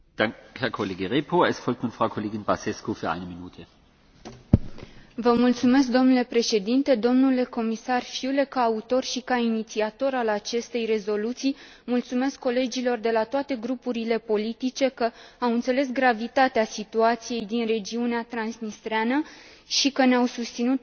Domnule președinte, domnule comisar Füle, ca autor și ca inițiator al aceste rezoluții, mulțumesc colegilor de la toate grupurile politice că au înțeles gravitatea situației din regiunea transnistreană și că ne au susținut, pe mine și pe Cristi Preda, să impunem acest subiect pe agenda plenarei.